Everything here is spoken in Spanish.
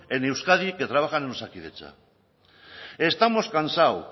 en euskadi que trabajan en osakidetza estamos cansados